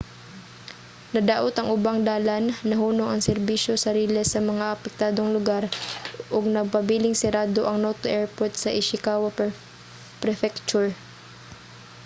nadaot ang ubang dalan nahunong ang serbisyo sa riles sa mga apektadong lugar ug nagpabiling sirado ang noto airport sa ishikawa prefecture